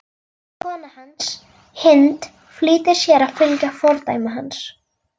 Kona hans, Hind, flýtir sér að fylgja fordæmi hans.